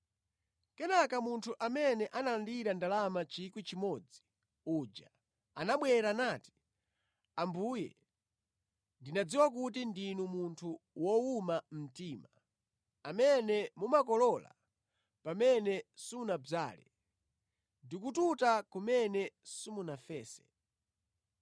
“Kenaka munthu amene analandira ndalama 1,000 uja anabwera nati, ‘Ambuye ndinadziwa kuti ndinu munthu wowuma mtima, amene mumakolola pamene simunadzale ndi kututa kumene simunafese.